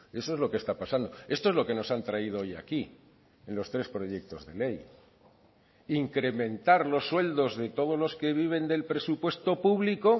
eso es lo que está pasando esto es lo que nos han traído hoy aquí en los tres proyectos de ley incrementar los sueldos de todos los que viven del presupuesto público